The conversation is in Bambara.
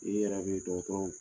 I yɛrɛ be dɔgɔtɔrɔw